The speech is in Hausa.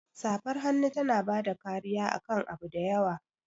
Safar hannu tana bada kariya akan abu da yawa.